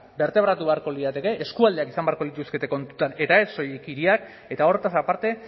bertebratu beharko lirateke eskualdeak izan beharko lituzkete kontutan eta ez soilik hiriak eta hortaz aparte